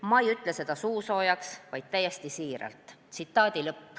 Ma ei ütle seda suusoojaks, vaid täiesti siiralt.